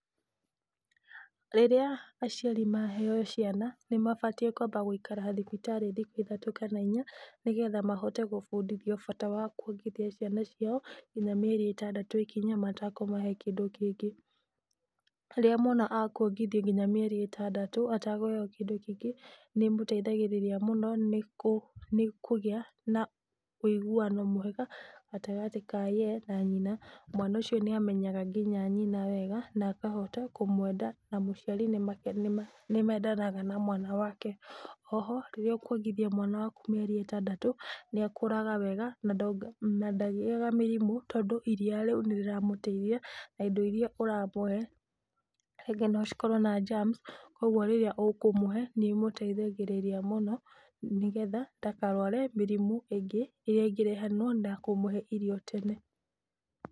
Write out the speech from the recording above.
Rĩrĩa aciari maheo ciana nĩmabatiĩ kwamba gũikara thibitarĩ thikũ ithatũ kana inya nĩgetha mahote gũbundithio bata wa kwongithia ciana ciao nginya mĩeri ĩtandatũ ĩkinye matakũmahe kĩndũ kĩngĩ. Rĩrĩa mwana akũongithio nginya mĩeri ĩtandatũ atakũheo kĩndũ kĩngĩ, nĩ ĩmũteithagĩrĩria mũno nĩ kũgĩa na ũiguano mwega gatagatĩ ka ye na nyina. Mwana ũcio nĩ amenyaga nginya nyina wega na akahota kũmwenda na mũciari nĩmendanaga na mwana wake. Oho, rĩrĩa ũkwongithia mwana waku mĩeri ĩtandatũ, nĩ akũraga wega na ndagĩaga mĩrimũ tondũ iria rĩu nĩ rĩramũteithia na indo iria ũramũhe, rĩngĩ no cikorwo na germs koguo rĩrĩa ũkũmũhe nĩ ĩmũteithagĩrĩria mũno nĩgetha ndakarware mĩrimũ ĩngĩ ĩrĩa ĩngĩrehanwo na kũmũhe irio tene.